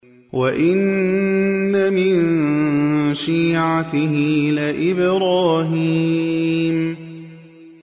۞ وَإِنَّ مِن شِيعَتِهِ لَإِبْرَاهِيمَ